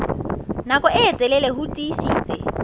nako e telele ho tiisitse